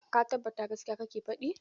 Ka tabbata gaskiya kake faɗi?